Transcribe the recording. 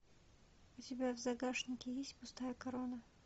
у тебя в загашнике есть пустая корона